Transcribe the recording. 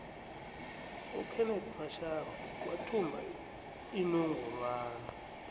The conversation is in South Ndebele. ukenethi mashaba wathumba inongorwana